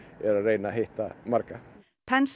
er að reyna að hitta marga